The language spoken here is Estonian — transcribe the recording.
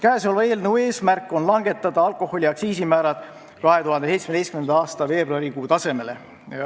Käesoleva eelnõu eesmärk on langetada alkoholi aktsiisimäärad 2017. aasta veebruari tasemele.